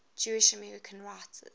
jewish american writers